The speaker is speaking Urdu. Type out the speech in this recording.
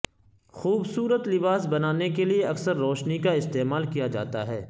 خوبصورت لباس بنانے کے لئے اکثر روشنی کا استعمال کیا جاتا ہے